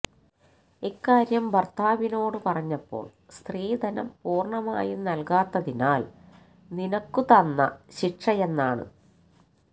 ഇക്കാര്യം ഭര്ത്താവിനോട് പറഞ്ഞപ്പോള് സ്ത്രീധനം പൂര്ണമായും നല്കാത്തതിനാല് നിനക്ക് തന്ന ശിക്ഷയെന്നാണ്